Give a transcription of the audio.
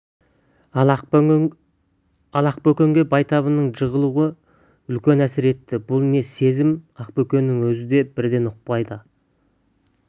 ал ақбөкенге байтабынның жығылуы үлкен әсер етті бұл не сезім ақбөкеннің өзі де бірден ұқпады ал